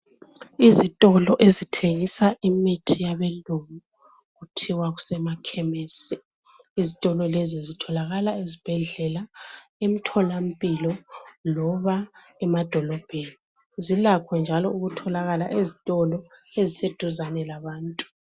Izitolo ezithengisa imithi yabeLungu kuthiwa kusemakhemesi. Izitolo lezi zitholakala ezibhedlela, emtholampilo loba emadolobheni. Zilakho njalo ukutholakala ezitolo eziseduzane labantu.